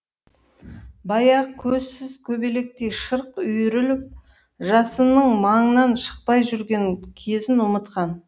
баяғы көзсіз көбелектей шырқ үйіріліп жасынның маңынан шықпай жүрген кезін ұмытқан